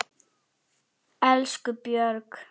Elsku Björg.